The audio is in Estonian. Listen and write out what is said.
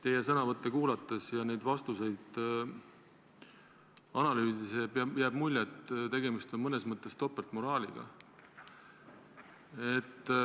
Teie sõnavõtte kuulates ja neid vastuseid analüüsides jääb mulje, et tegemist on mõnes mõttes topeltmoraaliga.